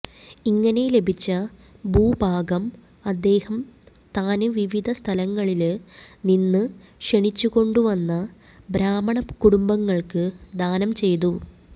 ഇങ്ങനെ ലഭിച്ച ഭൂഭാഗം അദ്ദേഹം താന് വിവിധ സ്ഥലങ്ങളില് നിന്ന് ക്ഷണിച്ചുകൊണ്ട ുവന്ന ബ്രാഹ്മണകുടുംബങ്ങള്ക്ക് ദാനം ചെയ്തു